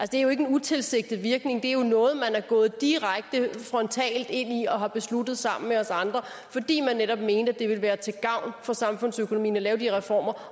det er jo ikke en utilsigtet virkning det er jo noget man er gået direkte frontalt ind i og har besluttet sammen med os andre fordi man netop mente at det ville være til gavn for samfundsøkonomien at lave de reformer